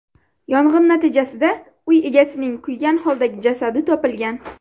Yong‘in natijasida uy egasining kuygan holdagi jasadi topilgan.